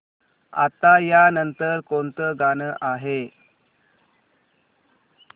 आता या नंतर कोणतं गाणं आहे